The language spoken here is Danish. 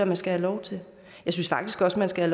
man skal have lov til jeg synes faktisk også man skal